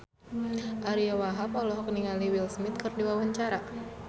Ariyo Wahab olohok ningali Will Smith keur diwawancara